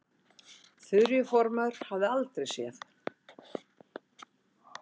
Þuríður formaður hafði aldrei séð